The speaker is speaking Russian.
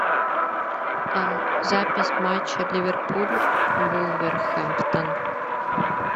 запись матча ливерпуль вулверхэмптон